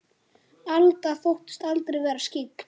Alda þóttist aldrei vera skyggn.